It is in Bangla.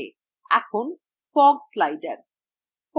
এখন fog slider